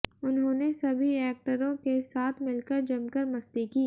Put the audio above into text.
उन्होंने सभी एक्टरों के साथ मिलकर जमकर मस्ती की